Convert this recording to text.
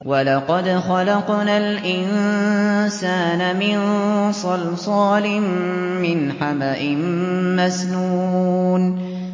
وَلَقَدْ خَلَقْنَا الْإِنسَانَ مِن صَلْصَالٍ مِّنْ حَمَإٍ مَّسْنُونٍ